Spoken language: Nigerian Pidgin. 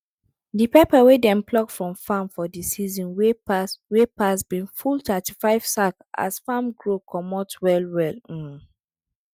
de pepper wey dem pluck from farm for de season wey pass wey pass bin full thirtyfive sack as farrm grow comot well well um